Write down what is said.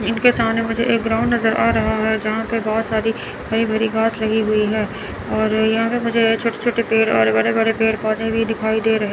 इनके सामने मुझे एक ग्राउंड नज़र आ रहा है। जहां पर बहोत सारी हरि भरी घास लगी हुई है और यहां पर मुझे छोटे छोटे और बड़े बड़े पेड़ पौधे भी दिखाई दे रहे --